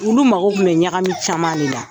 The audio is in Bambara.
Olu mago kun bɛ ɲagami caman le la.